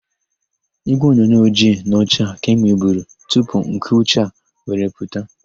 Ígwèonyonyo ojii na ọcha ka e nweburu tupu nke ụcha were pụta.